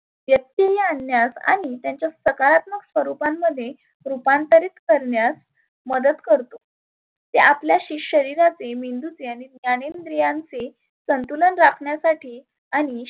व्यत्यय आनण्यात आणि त्याच्या सकारात्मक स्वरुपांमध्ये सुपांतरीत करण्यात मदत करतो. ते आपल्या शरिरातील मेंदुचे ज्ञान ज्ञानेंद्रियांचे संतुलन राखण्यासाठी आणि